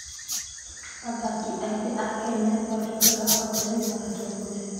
Athaki aingĩ a Kenya nĩ matuĩkaga arutani na atongoria.